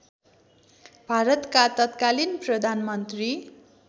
भारतका तत्कालिन प्रधानमन्त्री